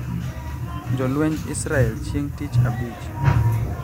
Jolwenj Israel chieng` Tich Abich